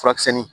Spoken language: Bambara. Furakisɛnin